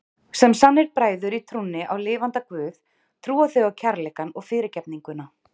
Sem sannir bræður í trúnni á lifanda guð trúa þau á kærleikann og fyrirgefninguna.